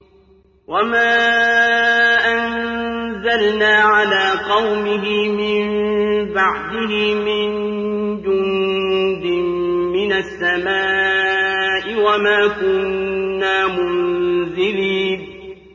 ۞ وَمَا أَنزَلْنَا عَلَىٰ قَوْمِهِ مِن بَعْدِهِ مِن جُندٍ مِّنَ السَّمَاءِ وَمَا كُنَّا مُنزِلِينَ